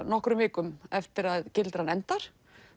nokkrum vikum eftir að gildran endar